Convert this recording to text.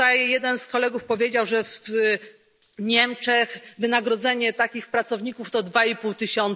Jeden z kolegów powiedział, że w Niemczech wynagrodzenie takich pracowników to 2,5 tys.